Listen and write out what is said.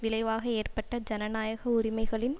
விளைவாக ஏற்பட்ட ஜனநாயக உரிமைகளின்